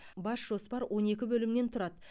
бас жоспар он екі бөлімнен тұрады